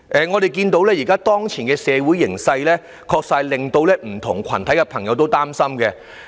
我們看到當前的社會形勢，確實令社會各界朋友都很擔心。